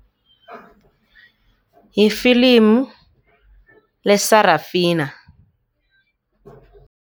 Yifilimu le-Sarafina.